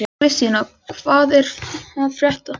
Kristína, hvað er að frétta?